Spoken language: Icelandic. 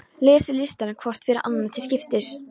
Lesið listann hvort fyrir annað til skiptis.